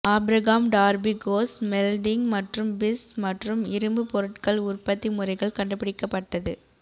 Abraham Darby coke smelting மற்றும் பிஸ் மற்றும் இரும்பு பொருட்கள் உற்பத்தி முறைகள் கண்டுபிடிக்கப்பட்டது